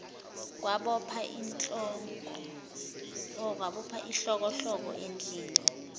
kwabopha ihlokohloko endlinini